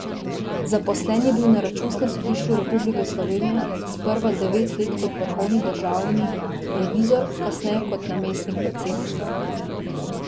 Zaposlen je bil na Računskem sodišču Republike Slovenije, sprva devet let kot vrhovni državni revizor, kasneje kot namestnik predsednika.